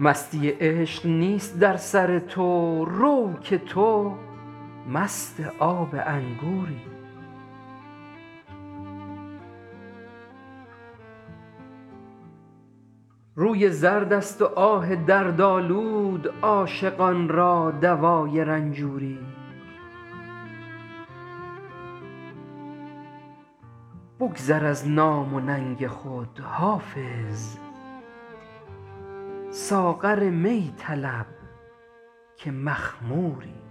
مستی عشق نیست در سر تو رو که تو مست آب انگوری روی زرد است و آه دردآلود عاشقان را دوای رنجوری بگذر از نام و ننگ خود حافظ ساغر می طلب که مخموری